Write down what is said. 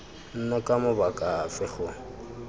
nna ka mabaka afe go